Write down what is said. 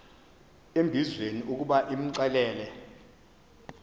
embizweni ukuba imxelele